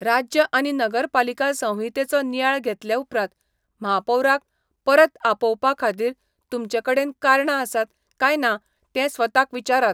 राज्य आनी नगरपालिका संहितेचो नियाळ घेतले उपरांत, म्हापौराक परत आपोवपाखातीर तुमचे कडेन कारणां आसात काय ना तें स्वताक विचारात.